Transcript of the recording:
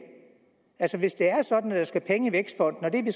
hvis det er sådan at der skal penge i vækstfonden og det er vi